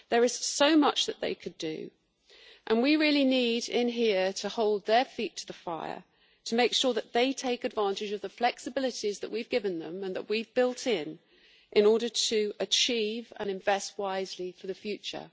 There is so much that they could do, and here we really need to hold their feet to the fire, to make sure they take advantage of the flexibilities that we have given them, and that we have built in, in order to achieve and invest wisely for the future.